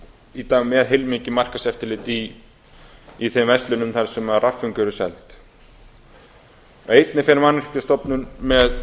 í dag með heilmikið markaðseftirlit í þeim verslunum þar sem rafföng eru seld einnig fer mannvirkjastofnun með